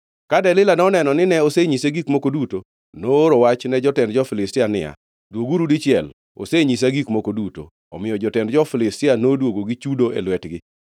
Ka Delila noneno nine osenyise gik moko duto, nooro wach ne jotend jo-Filistia niya, “Dwoguru dichiel; osenyisa gik moko duto.” Omiyo jotend jo-Filistia noduogo gi chudo e lwetgi.